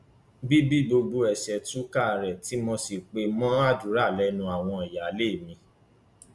bí bí gbogbo ẹ ṣe túká rèé tí mo rí i pé mo gbàdúrà lẹnu àwọn ìyáálé mi